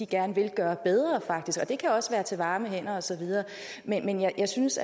gerne vil gøre bedre det kan også være til varme hænder og så videre men jeg synes